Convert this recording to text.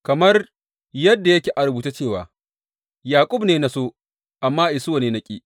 Kamar yadda yake a rubuce cewa, Yaƙub ne na so, amma Isuwa ne na ƙi.